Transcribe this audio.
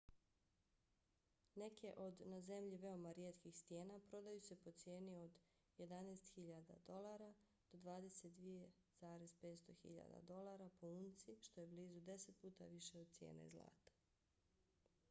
neke od na zemlji veoma rijetkih stijena prodaju se po cijeni od 11.000 usd do 22.500 usd po unci što je blizu deset puta više od cijene zlata